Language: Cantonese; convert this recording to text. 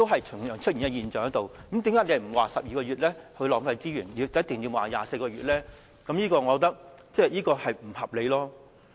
出現相同的現象，那麼為何不說12個月會浪費資源，而說24個月便一定會呢？